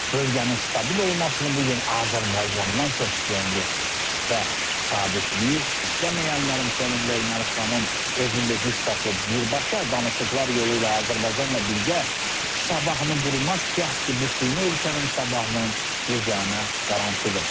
Bölgənin stabil olmasını bu gün Azərbaycandan çox istəyən yoxdur və sabitliyi istəməyənlərin fonunda Ermənistanın özünü də güc tapıb birbaşa danışıqlar yolu ilə Azərbaycanla birgə sabahını qurmaq cəhdi bu süni ölkənin sabahının yeganə qarantıdır.